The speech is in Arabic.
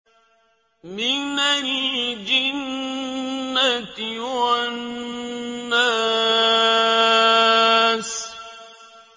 مِنَ الْجِنَّةِ وَالنَّاسِ